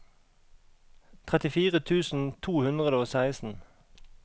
trettifire tusen to hundre og seksten